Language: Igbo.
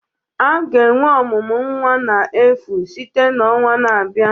A ga-enwe ọmụmụ nwa n'efu site na ọnwa na-abịa